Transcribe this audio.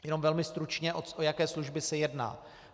Jen velmi stručně, o jaké služby se jedná.